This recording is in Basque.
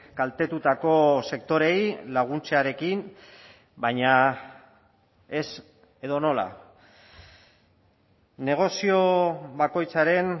kaltetutako sektoreei laguntzarekin baina ez edonola negozio bakoitzaren